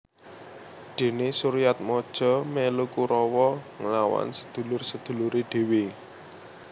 Dene Suryatmaja melu Kurawa nglawan sedulur sedulure dhewe